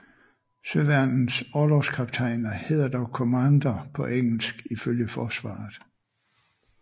Søværnets orlogskaptajner hedder dog Commander på engelsk ifølge forsvaret